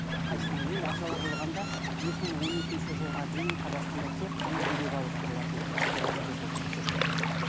қайсысына енді ағзалар болғанда екі мың он екінші жылға дейін қазақстанда тек қана бүйрек ауыстырылатын ы операция жүргізіліп жүрді